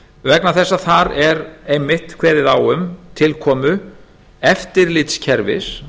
vegna þess að þar er einmitt kveðið á um tilkomu eftirlitskerfis